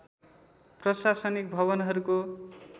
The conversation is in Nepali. प्रशासनिक भवनहरूको